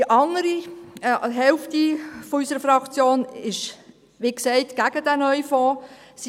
Die andere Hälfte unserer Fraktion ist, wie gesagt, gegen den neuen Fonds.